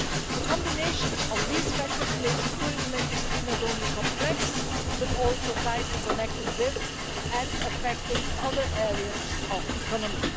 The combination of these factors makes the tourism industry not only complex, but also tightly connected with, and affecting, other areas of the economy.